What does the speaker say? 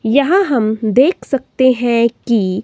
यहां हम देख सकते हैं कि--